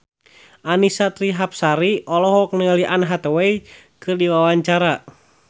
Annisa Trihapsari olohok ningali Anne Hathaway keur diwawancara